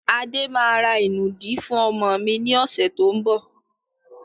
Adé máa ra ìnùdí fún ọmọ mi ni ọ̀sẹ̀ tó ń bọ̀.